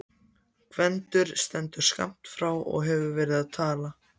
Gvendur stendur skammt frá og hefur verið að tala.